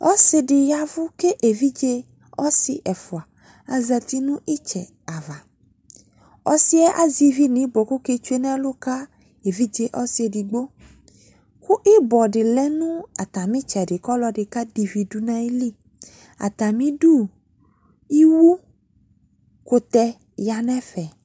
Ɔse de yavu ko evidze ɔse ɛfua azati no itsɛ ava Ɔsiɛ azɛ ivi no ibɔ ko ɔke tsue evidze ɔse edigbo, ko ibɔ de lɛ no atame tsɛde ko ɔlɔde kade ivi do no ayili Atame di iwu kutɛ ya no ɛfɛ